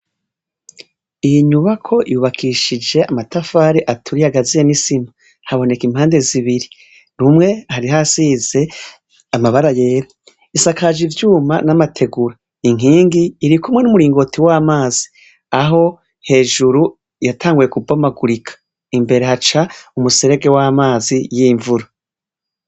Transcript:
Iyi nyubako yubakishije amatafari aturiye yisima haboneka impande zibiri rumwe hari hasize amabara yera bisakaje ivyuma namategura inkingi irikumwe numuringoti wamazi aho hejuru yatanguye kubomagurika imbere haca umuserege wamazi yimvura